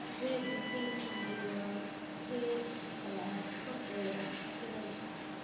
Keega kaynta madow waa kee shukulaato leh cherry.